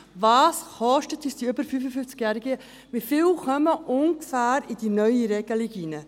Was kosten uns die über 55-Jährigen, und wie viele von ihnen fallen ungefähr unter die neue Regelung?